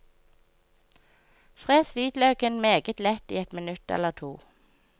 Fres hvitløken meget lett i et minutt eller to.